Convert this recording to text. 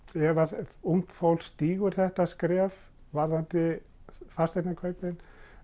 ef ungt fólk stígur þetta skref varðandi fasteignakaupin